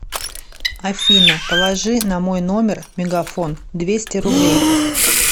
афина положи на мой номер мегафон двести рублей